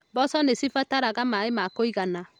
Mboco nĩ cibataraga maaĩ ma kũigana.